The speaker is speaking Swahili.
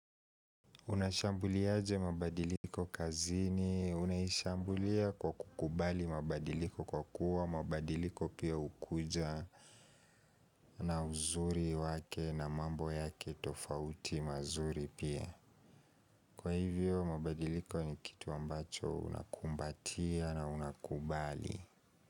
Unashambuliaje mabadiliko kazini, unaishambulia kwa kukubali mabadiliko kwa kuwa, mabadiliko pia hukuja na uzuri wake na mambo yake tofauti mazuri pia. Kwa hivyo mabadiliko ni kitu ambacho unakumbatia na unakubali.